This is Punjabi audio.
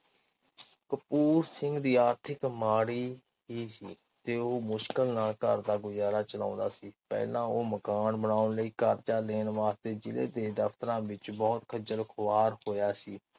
ਕਪੂਰ ਸਿੰਘ ਦੀ ਆਰਥਿਕ ਮਾੜੀ ਹੀ ਸੀ। ਤੇ ਉਹ ਮੁਸ਼ਕਿਲ ਨਾਲ ਘਰ ਦਾ ਗੁਜ਼ਾਰਾ ਚਲਾਓਦਾਂ ਸੀ ਪਹਿਲਾ ਉਹ ਮਕਾਨ ਬਨਾਉਣ ਲਈ ਕਰਜਾ ਲੈਣ ਵਾਸਤੇ ਜਿਲ੍ਹੇ ਦੇ ਦਫਤਰਾਂ ਵਿਚ ਬਹੁਤ ਖਜਲ ਖੁਆਰ ਹੋਇਆ ਸੀ।